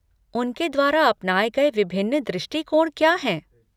उनके द्वारा अपनाए गए विभिन्न दृष्टिकोण क्या हैं?